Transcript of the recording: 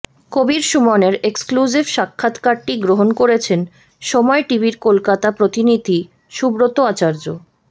কবীর সুমনের এক্সক্লুসিভ সাক্ষাৎকারটি গ্রহণ করেছেন সময় টিভির কলকাতা প্রতিনিধি সুব্রত আচার্য্য